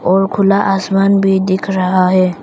और खुला आसमान भी दिख रहा है।